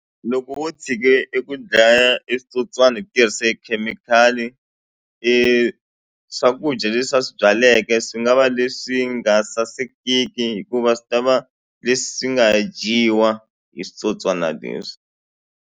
Loko wo tshike eku dlaya e switsotswani hi tirhise khemikhali swakudya leswi a swi byaleke swi nga va leswi nga sasekini hikuva swi ta va leswi nga dyiwa hi switsotswana leswi.